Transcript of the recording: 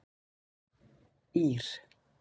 Ír